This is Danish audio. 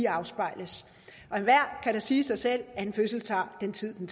afspejles og enhver kan da sige sig selv at en fødsel tager den tid en